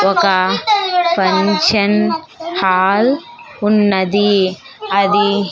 ఒక function hall ఉన్నది అది--